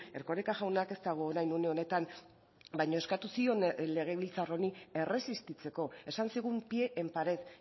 erkoreka jaunak ez dago orain une honetan baina eskatu zion legebiltzar honi erresistitzeko esan zigun pie en pared